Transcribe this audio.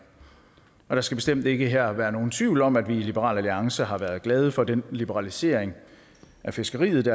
der skal bestemt ikke her være nogen tvivl om at vi i liberal alliance har været glade for den liberalisering af fiskeriet